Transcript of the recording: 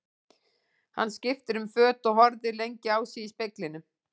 Hann skipti um föt og horfði lengi á sig í speglinum.